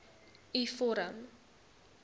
u vorm